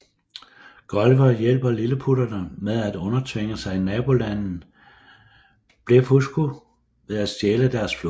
Gulliver hjælper lilleputterne med at undertvinge sig nabolandet Blefuscu ved at stjæle deres flåde